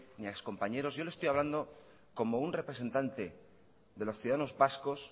ni a excompañeros yo le estoy hablando como un representante de los ciudadanos vascos